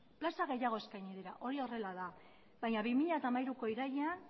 plaza gehiago eskaini dira hori horrela da baina bi mila hamairuko irailean